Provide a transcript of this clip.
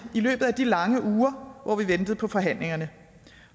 i løbet af de lange uger hvor vi ventede på forhandlingerne